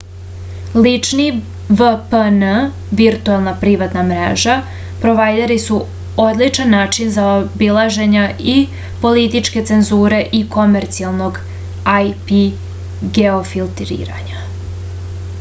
лични vpn виртуелна приватна мрежа провајдери су одличан начин заобилажења и политичке цензуре и комерцијалног ip геофилтрирања